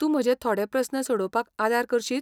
तूं म्हजे थोडे प्रस्न सोडोवपाक आदार करशीत ?